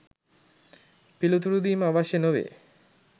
පිළිතුරු දීම අවශ්‍ය නොවේ.